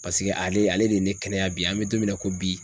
Paseke ale ale de ye ne kɛnɛya bi an mɛ don min na ko bi